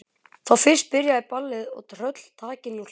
Þá fyrst byrjaði ballið og tröll taki nú hlátur.